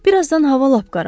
Bir azdan hava lap qaraldı.